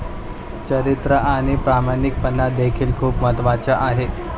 चरित्र आणि प्रामाणिकपणा देखील खुप महत्त्वाचं आहे.